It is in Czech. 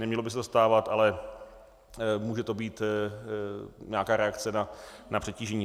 Nemělo by se to stávat, ale může to být nějaká reakce na přetížení.